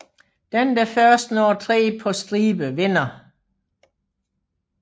Den der først når tre på stribe vinder